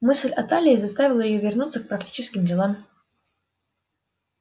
мысль о талии заставила её вернуться к практическим делам